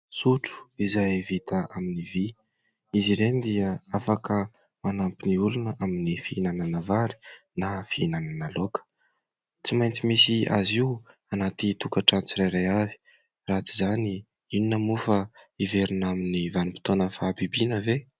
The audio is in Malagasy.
Sotro izay vita amin'ny vy ; izy ireny dia afaka manampy ny olona amin'ny fihinanana vary na fihinanana laoka, tsy maintsy misy azy io anaty tokantrano tsirairay avy raha tsy izany inona moa fa hiverina amin'ny vanim-potoana ny fahabibiana ve ?